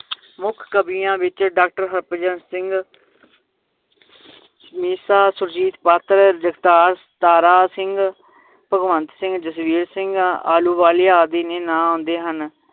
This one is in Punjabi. ਮੁਖ ਕਵੀਆਂ ਵਿਚ ਡਾਕਟਰ ਹਰਭਜਨ ਸਿੰਘ, ਮੀਸਾ ਸੁਰਜੀਤ ਪਾਤਰ, ਜਗਤਾਰ ਤਾਰਾ ਸਿੰਘ, ਭਗਵੰਤ ਸਿੰਘ, ਜਸਵੀਰ ਸਿੰਘ ਆਲੂਵਾਲੀਆਂ ਆਦਿ ਦੇ ਨਾਂ ਆਉਂਦੇ ਹਨ